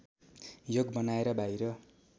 योग बनाएर बाहिर